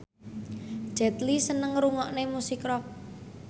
Jet Li seneng ngrungokne musik rock